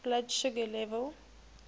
blood sugar level